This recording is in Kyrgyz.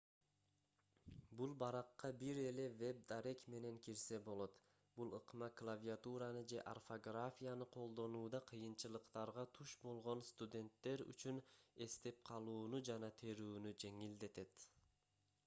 бул баракка бир эле веб дарек менен кирсе болот бул ыкма клавиатураны же орфографияны колдонууда кыйынчылыктарга туш болгон студенттер үчүн эстеп калууну жана терүүнү жеңилдетет